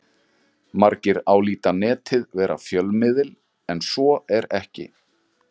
Margir álíta Netið vera fjölmiðil en svo er ekki.